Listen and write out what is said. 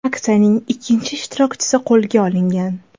Aksiyaning ikki ishtirokchisi qo‘lga olingan.